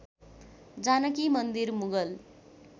Janaki Mandir Mughal